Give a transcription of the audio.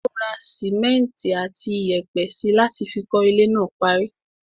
Ó ra simẹnti àti iyẹ̀pẹ̀ síi láti fi kọ́ ilé náà parí.